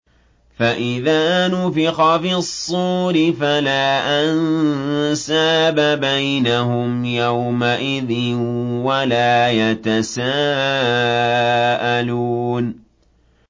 فَإِذَا نُفِخَ فِي الصُّورِ فَلَا أَنسَابَ بَيْنَهُمْ يَوْمَئِذٍ وَلَا يَتَسَاءَلُونَ